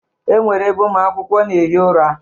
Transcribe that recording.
E nwere ebe ụmụ akwụkwọ na-ehi ụra.